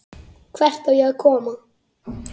Hvert á ég að koma?